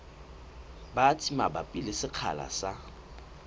batsi mabapi le sekgahla sa